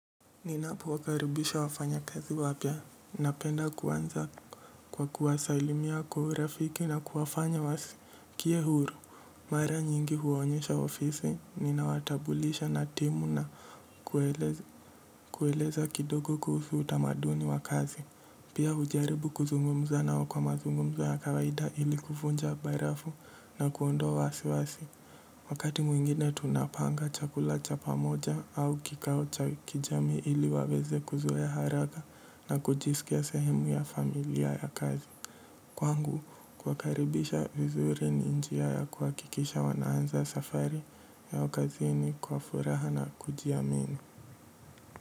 Ninapo karibisha wafanya kazi wapya, napenda kuanza kwa kuwasailimia kwa urafiki na kuwafanya wasikie huru. Mara nyingi huwaonyesha ofisi ninawatambulisha na timu na kueleza kidogo kuhusu utamaduni wa kazi, pia hujaribu kuzungumza nao kwa mazungumzo ya kawaida ili kuvunja barafu na kuondoa wasi wasi. Wakati mwingine tunapanga chakula cha pamoja au kikao cha kijamii ili waweze kuzoea haraka na kujisikia sehemu ya familia ya kazi. Kwangu, kuwakaribisha vizuri ni njia ya kuhakikisha wanaanza safari yao kazini kwa furaha na kujiamini.